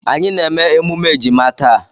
Anyị na-eme emume ejima taa.